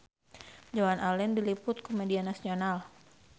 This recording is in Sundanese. Joan Allen diliput ku media nasional